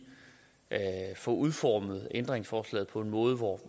få udformet ændringsforslaget på en måde hvor